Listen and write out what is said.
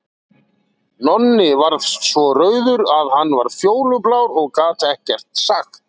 Nonni varð svo rauður að hann varð fjólublár og gat ekkert sagt.